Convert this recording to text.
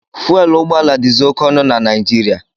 Fuwelu ụgbọala dizi oke ọnụ na Naijiriia.